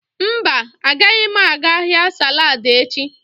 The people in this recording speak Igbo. Mba, agaghị m aga ahịa saladi echi.